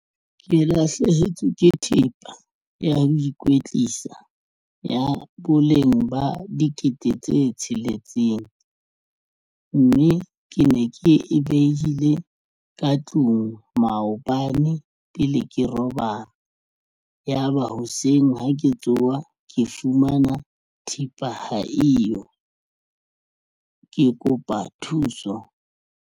Ke lahlehetswe ke thepa ya ikwetlisa ya boleng ba dikete tse tsheletseng, mme ke ne ke e behile ka tlung maobane pele ke robala ya ba hoseng ha ke tsoha ke fumana thepa ha eyo ke kopa thuso.